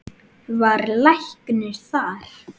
Var læknir þar.